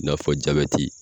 I n'a fɔ Jabɛti